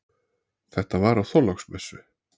Þetta var á Þorláksmessu.